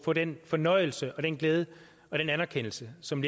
få den fornøjelse og den glæde og den anerkendelse som